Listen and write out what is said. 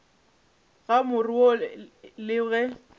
ga more wo le ge